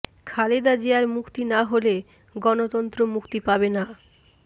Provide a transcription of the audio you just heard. খালেদা জিয়ার মুক্তি না হলে গণতন্ত্র মুক্তি পাবে না